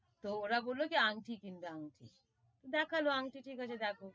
তোওরা বললো যে, আংঠি কিনবে আংঠি, দেখালো আংঠি ঠিক আছে দেখো,